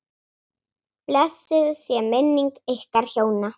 Blessuð sé minning ykkar hjóna.